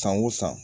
San o san